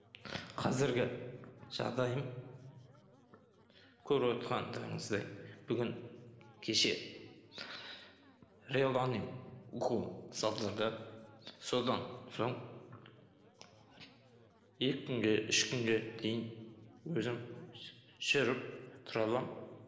қазіргі жағдайым көріп отырғандарыңыздай бүгін кеше реланиум уколын салдырды содан соң екі күнге үш күнге дейін өзім жүріп тұра аламын